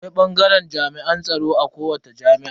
Akwai bangaren jami'an tsaro a kowace jami'a.